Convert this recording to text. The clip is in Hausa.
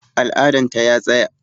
Al'adan ta ya tsaya